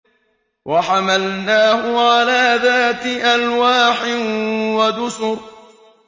وَحَمَلْنَاهُ عَلَىٰ ذَاتِ أَلْوَاحٍ وَدُسُرٍ